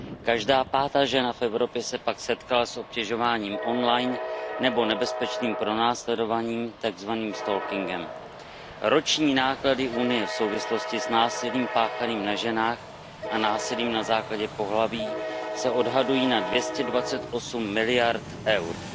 Každá pátá žena v Evropě se pak setkala s obtěžováním on line nebo nebezpečným pronásledováním, takzvaným stalkingem. Roční náklady Evropské unie v souvislosti s násilím páchaným na ženách a násilím na základě pohlaví se odhadují na dvě stě dvacet osm miliard eur.